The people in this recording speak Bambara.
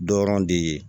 Dɔrɔn de ye